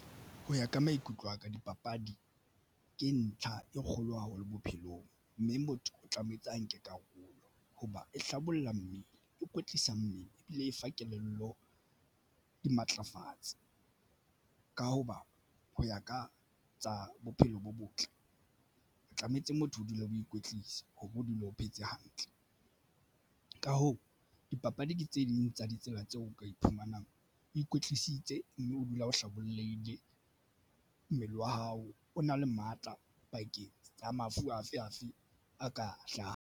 Ho ya ka maikutlo aka dipapadi ke ntlha e kgolo haholo bophelong, mme motho o tlametse a nke karolo hoba e hlabolla mmele e kwetlisa mmele ebile e fa kelello di matlafatsa ka hoba ho ya ka tsa bophelo bo botle. Tlametse motho o dule o ikwetlisa hoba o dule o phetse hantle. Ka hoo, dipapadi ke tse ding tsa ditsela tseo ka iphumanang ikwetlisitse mme o dula o hlabollehile mmele wa hao o na le matla pakeng tsa mafu afe afe a ka hlahang.